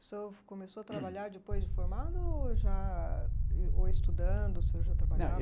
O senhor começou a trabalhar depois de formado ou já, ou estudando, o senhor já trabalhava?